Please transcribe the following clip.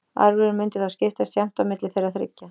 Arfurinn mundi þá skiptast jafnt á milli þeirra þriggja.